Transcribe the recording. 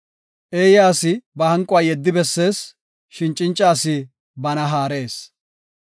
Eeya asi ba hanquwa yeddi bessees; shin cinca asi bana haarees.